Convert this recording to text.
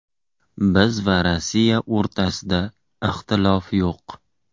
Biz va Rossiya o‘rtasida ixtilof yo‘q.